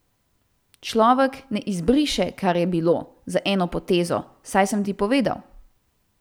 Človek ne izbriše, kar je bilo, z eno potezo, saj sem ti povedal.